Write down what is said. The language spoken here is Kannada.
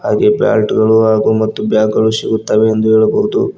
ಹಾಗೆ ಬ್ಯಾಟ್ ಗಳು ಹಾಗೂ ಮತ್ತು ಬ್ಯಾಗ್ ಗಳು ಸಿಗುತ್ತವೆ ಎಂದು ಹೇಳಬಹುದು.